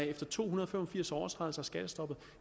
efter to hundrede og fem og firs overtrædelser af skattestoppet